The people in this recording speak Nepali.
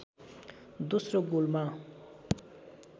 दोस्रो गोलमा